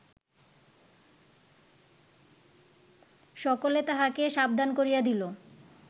সকলে তাহাকে সাবধান করিয়া দিল